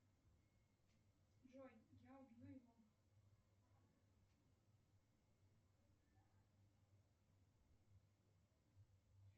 джой я убью его